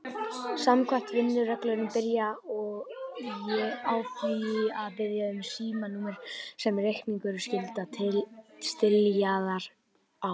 Samkvæmt vinnureglunni byrjaði ég á því að biðja um símanúmerið sem reikningurinn skyldi stílaður á.